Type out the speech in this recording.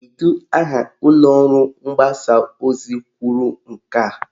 Kedu aha ụlọọrụ mgbasa ozi kwuru nke a?